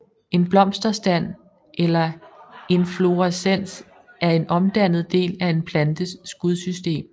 En blomsterstand eller inflorescens er en omdannet del af en plantes skudsystem